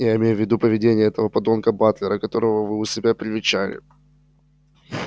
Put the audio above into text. я имею в виду поведение этого подонка батлера которого вы у себя привечали